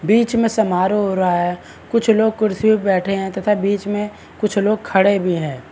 बीच में समारोह हो रहा है कुछ कुछ लोग कुर्सीयो पे बैठे हैं तथा बीच में कुछ लोग खड़े भी हैं।